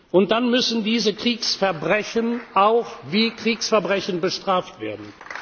Und dann müssen diese Kriegsverbrechen auch wie Kriegsverbrechen bestraft werden.